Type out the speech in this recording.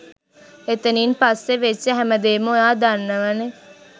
එතනින් පස්සෙ වෙච්ච හැම දේම ඔයා දන්නවනෙ